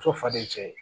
Muso faden ye cɛ ye